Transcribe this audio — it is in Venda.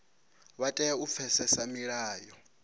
vha tea u pfesesa milayo